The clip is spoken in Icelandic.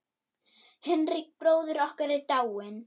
Hinrik bróðir okkar er dáinn.